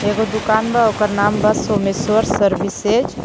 एगो दुकान बा ओकर नाम बा सोमेश्वर सर्विसेज .